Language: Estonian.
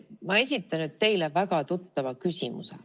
Ma esitan teile väga tuttava küsimuse.